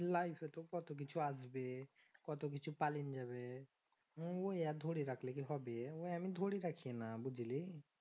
life এ তো কত কিছু আসবে? কত কিছু পলিন যাবে হুম অইয়া ধরে রাখলে কি হবে ওই আমি ধরে থাকি না বুঝলি